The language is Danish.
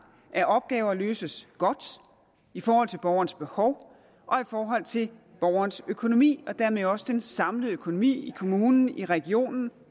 at opgaver løses godt i forhold til borgerens behov og i forhold til borgerens økonomi og dermed også den samlede økonomi i kommunen i regionen og